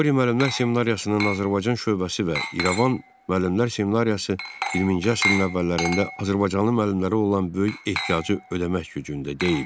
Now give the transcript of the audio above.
Qori müəllimlər seminariyasının Azərbaycan şöbəsi və İrəvan müəllimlər seminariyası 20-ci əsrin əvvəllərində azərbaycanlı müəllimlərə olan böyük ehtiyacı ödəmək gücündə deyildi.